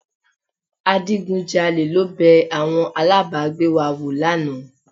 Adigunjalè ló bẹ àwọn alábàágbé wa wò lánàá